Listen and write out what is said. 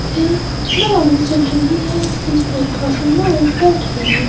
एक नाव चल रही है जिस पर काफी लोग बैठे हैं।